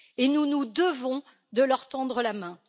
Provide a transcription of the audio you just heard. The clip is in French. Nous nous devons de leur tendre la main.